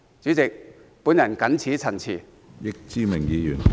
主席，我謹此陳辭。